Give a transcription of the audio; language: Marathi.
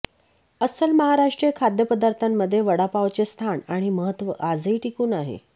अस्सल महाराष्ट्रीय खाद्यपदार्थांमध्ये वडापावचे स्थान आणि महत्त्व आजही टिकून आहे